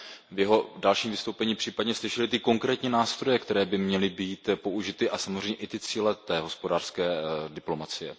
v jeho dalším vystoupení případně slyšeli ty konkrétní nástroje, které by měly být použity, a samozřejmě i ty cíle hospodářské diplomacie.